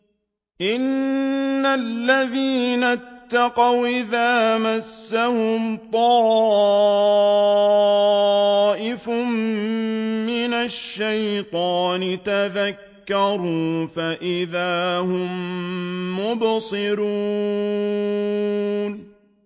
إِنَّ الَّذِينَ اتَّقَوْا إِذَا مَسَّهُمْ طَائِفٌ مِّنَ الشَّيْطَانِ تَذَكَّرُوا فَإِذَا هُم مُّبْصِرُونَ